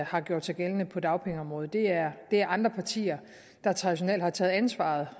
har gjort sig gældende på dagpengeområdet det er er andre partier der traditionelt har taget ansvaret